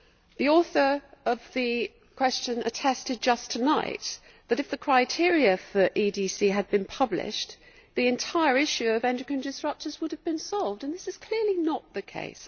The author of the question attested just tonight that if the criteria for EDCs had been published, the entire issue of endocrine disrupters would have been solved, and this is clearly not the case.